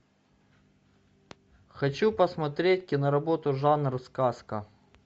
хочу посмотреть киноработу жанр сказка